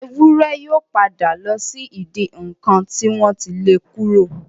Ewúrẹ́ yóò padà lọ sí ìdí ǹnkan tí wọ́n ti le kúrò.